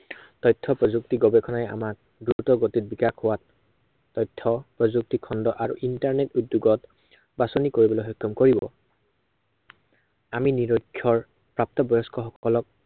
তথ্য় প্ৰযুক্তি গৱেষণাই আমাক দ্ৰুতগতিত বিকাশ হোৱাত তথ্য় প্ৰয়ুক্তিখণ্ড আৰু internet উদ্য়োগত, বাঁচনি কৰিবলৈ সক্ষম কৰিব। আমি নিৰক্ষৰ প্ৰাপ্তবয়স্ক সকলক